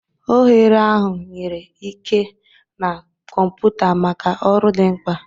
Oghere ahụ nyere ike na kọmpụta maka ọrụ dị mkpa.